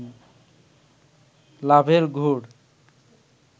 লাভের গুড়